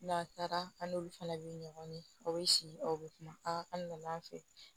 N'a taara an n'olu fana bɛ ɲɔgɔn ye aw bɛ si aw bɛ kuma a kan na